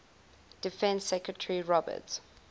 defense secretary robert